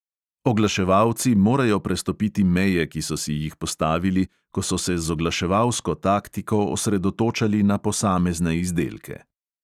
Oglaševalci morajo prestopiti meje, ki so si jih postavili, ko so se z oglaševalsko taktiko osredotočali na posamezne izdelke.